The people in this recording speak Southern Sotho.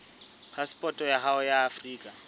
phasepoto ya hao ya afrika